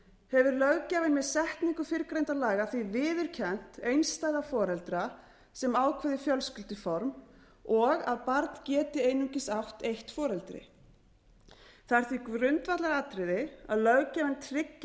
hefur löggjafinn með setningu fyrrgreindra laga því viðurkennt einstæða foreldra sem ákveðið fjölskylduform og að barn geti einungis átt eitt foreldri það er því grundvallaratriði að löggjafinn tryggi